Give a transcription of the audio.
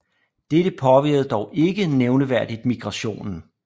Dette påvirkede dog ikke nævneværdigt migrationen